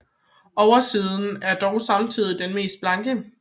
Oversiden er dog samtidig den mest blanke